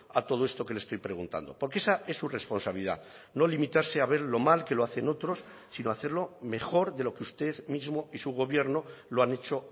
a todo esto que le estoy preguntando porque esa es su responsabilidad no limitarse a ver lo mal que lo hacen otros sino hacerlo mejor de lo que usted mismo y su gobierno lo han hecho